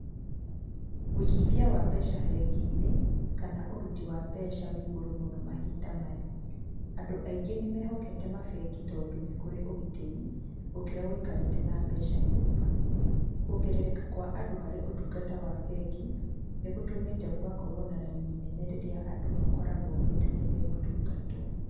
Ũigithia wa mbeca bengi-inĩ, kana ũruti wa mbeca ũrĩ igũrũ mũno mahinda maya. Andũ aingĩ nĩmehokete mabengi tondũ nĩkũrĩ ũgitĩri, gũkĩra wikarĩte na mbeca nyũmba. Kuongererka kwa andũ harĩ ũtungata wa bengi, nĩ gũtũmĩte gũgakorwo na raini nene rĩrĩa andũ makoragwo metereire gũtungatwo.